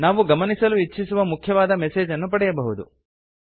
ನಾವು ಗಮನಿಸಲು ಇಚ್ಛಿಸುವ ಮುಖ್ಯವಾದ ಮೆಸೇಜ್ ಅನ್ನು ಪಡೆಯಬಹುದು